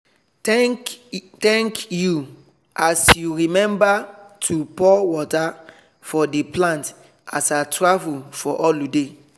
thank thank you as you remember to pour water for the plant as i travel for holiday.